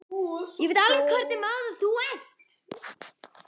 Ég veit alveg hvernig maður þú ert.